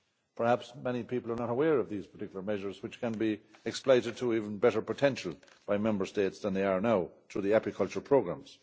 Perhaps many people are not aware of these particular measures which can be exploited to even better potential by Member States than they are now, through the apicultural programmes.